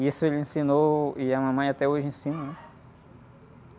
E isso ele ensinou e a mamãe até hoje ensina, né?